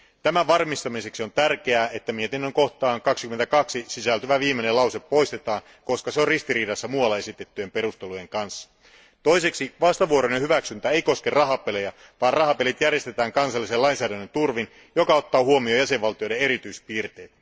Tämän varmistamiseksi on tärkeää, että mietinnön 22 kohtaan sisältyvä viimeinen lause poistetaan, koska se on ristiriidassa muualla esitettyjen perustelujen kanssa. Toiseksi vastavuoroinen hyväksyntä ei koske rahapelejä, vaan rahapelit järjestetään kansallisen lainsäädännön turvin, joka ottaa huomioon jäsenvaltioiden erityispiirteet.